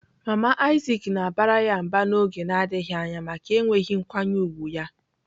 Mama Isaac na-abara ya mba n'oge na-adịghị anya maka enweghị nkwanye ùgwù ya.